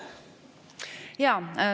Jaa.